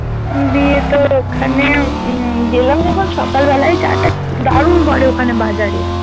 দিয়ে তোর ওখানে উম গেলাম যখন সকালবেলায় চা টা দারুন করে ওখানে বাজারে